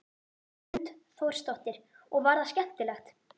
Hrund Þórsdóttir: Og var það skemmtilegt?